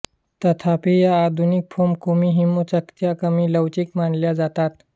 तथापी या आधुनिक फोम कुमिहिमो चकत्या कमी लवचिक मानल्या जातात